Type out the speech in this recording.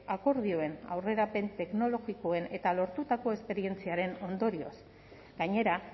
akordioen aurrerapen teknologikoen eta lortutako esperientziaren ondorioz gainera